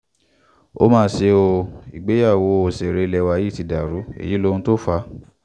ó mà ṣe o ìgbéyàwó òṣèré ilé wa yìí ti dàrú èyí lóhun tó fà á